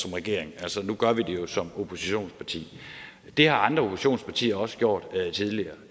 som regering altså nu gør vi det jo som oppositionsparti det har andre oppositionspartier også gjort tidligere